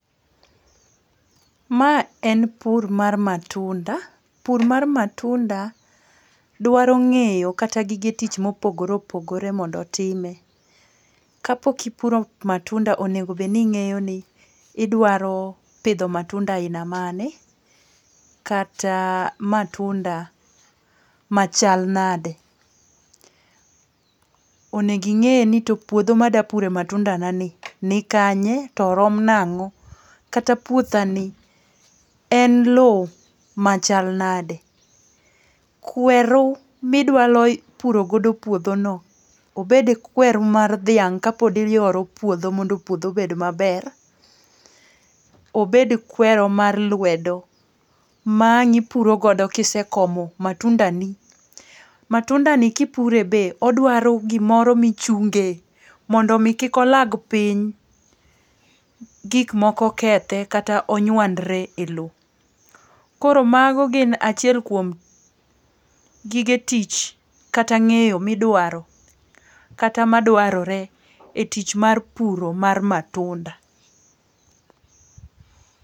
Ma en puro mar matunda. Pur mar matunda dwaro ng'eyo kata gige tich mopogore opogore mondo otime. Kapok ipuro matunda onego obed ni ing'eyo ni idwaro pidho matunda aina mane, kata matunda machal nade. Onego ing'e ni to puodho mada pure matunda na ni ni kanye, to orom nang'o, kata puothani, en lowo machal nade. Kweru midwaro puro go puodhono, obed kwer mar dhiang' kapod iyoro puodho mondo puodho obed maber, obed kweru mar lwedo ma ang' ipuro godo kisekomo matundani, matundani kipure be odwaro gimoro michungee mondo omi kik olag piny, gik moko kethe kata onywandre e lowo. Koro mago gin achiel kuom gige tich kata ng'eyo midwaro kata madwarore e tich mar puro mar matunda.